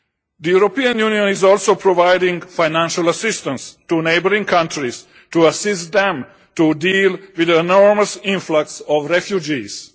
The European Union is also providing financial assistance to neighbouring countries to assist them to deal with the enormous influx of refugees.